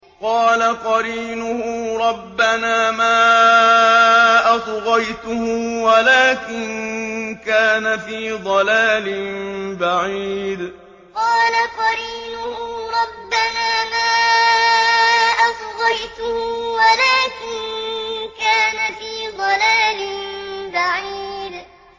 ۞ قَالَ قَرِينُهُ رَبَّنَا مَا أَطْغَيْتُهُ وَلَٰكِن كَانَ فِي ضَلَالٍ بَعِيدٍ ۞ قَالَ قَرِينُهُ رَبَّنَا مَا أَطْغَيْتُهُ وَلَٰكِن كَانَ فِي ضَلَالٍ بَعِيدٍ